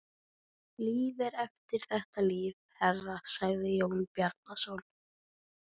Líf er eftir þetta líf, herra, sagði Jón Bjarnason.